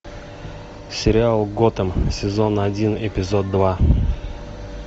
сериал готэм сезон один эпизод два